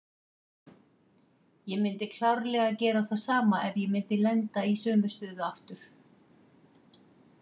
Ég myndi klárlega gera það sama ef ég myndi lenda í sömu stöðu aftur.